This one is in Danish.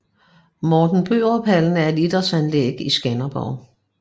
Morten Børup Hallen er et idrætsanlæg i Skanderborg